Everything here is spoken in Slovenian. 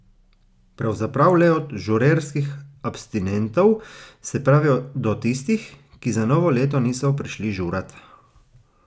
Pravzaprav le do žurerskih abstinentov, se pravi do tistih, ki za novo leto niso prišli žurat.